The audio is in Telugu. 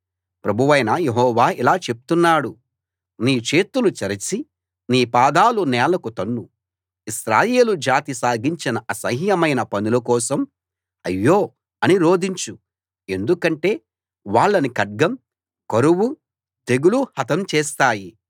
ప్రభువైన యెహోవా ఇలా చెప్తున్నాడు నీ చేతులు చరిచి నీ పాదాలు నేలకు తన్ను ఇశ్రాయేలు జాతి సాగించిన అసహ్యమైన పనుల కోసం అయ్యో అని రోదించు ఎందుకంటే వాళ్ళని ఖడ్గం కరువు తెగులు హతం చేస్తాయి